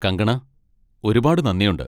കങ്കണാ, ഒരുപാട് നന്ദിയുണ്ട്!